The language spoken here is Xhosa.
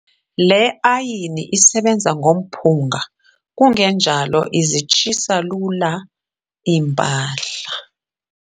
Le ayini isebenza ngomphunga kungenjalo izitshisa lula iimpahla.